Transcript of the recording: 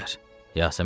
Yasəmən dedi: